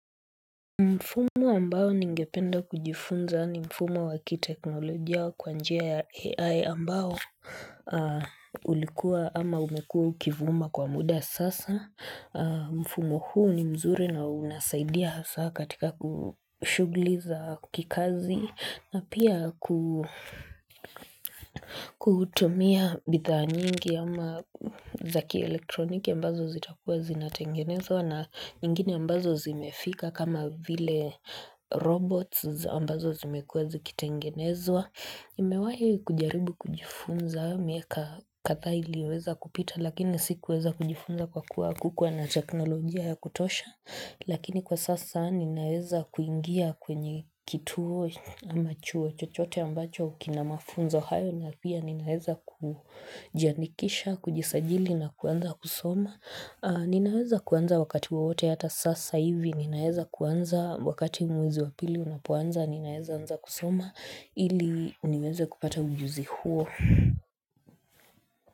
Mfumo ambao ningependa kujifunza ni mfumo wa kiteknolojia kwa njia ya AI ambao ulikuwa ama umekuwa ukivuma kwa muda sasa. Mfumo huu ni mzuri na unasaidia hasa katika ku shughuli za kikazi na pia kutumia bidhaa nyingi ama za kielektroniki ambazo zitakuwa zinatengenezwa. Na nyingine ambazo zimefika kama vile robots ambazo zimekuwa zikitengenezwa nimewahi kujaribu kujifunza miaka kathaa iliyoweza kupita Lakini sikuweza kujifunza kwa kuku hakukuwa na teknolojia ya kutosha Lakini kwa sasa ninaweza kuingia kwenye kituo ama chuo chochote ambacho kina mafunzo hayo na pia ninaweza kujiandikisha, kujisajili na kuanza kusoma Ninaweza kuanza wakati wowote hata sasa hivi Ninaweza kuanza wakati mwezi wa pili unapoanza Ninaweza anza kusoma ili niweze kupata ujuzi huo.